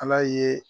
Ala ye